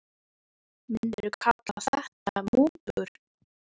Ingimar: Myndirðu kalla þetta mútur?